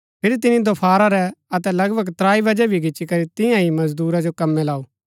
फिरी तिनी दोफारा रै अतै लगभग त्राई बजै भी गिच्ची करी तियां ही मजदूरा जो कम्मै लाऊ